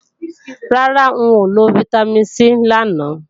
Rárá, n ò lo Vitamin C làná